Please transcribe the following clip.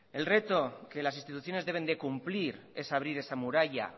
el reto que las instituciones deben de cumplir es abrir esa muralla